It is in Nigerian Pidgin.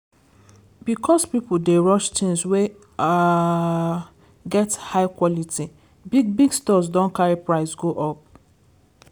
because people dey rush things wey um get high quality big-big stores don carry price go up.